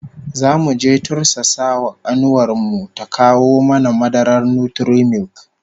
Zamu je mu tursasa wa kanuwar mu ta kawo mana madarar Nutri-milk